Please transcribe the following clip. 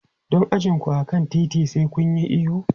Don a ji ku a kan titi, sai kun yi ihu.